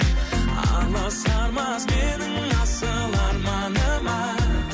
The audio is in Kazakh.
аласармас менің асыл арманыма